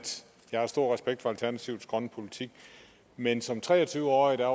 jeg har stor respekt for alternativets grønne politik men som tre og tyve årig var